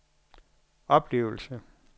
oplevelser